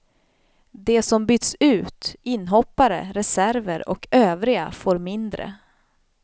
De som byts ut, inhoppare, reserver och övriga får mindre.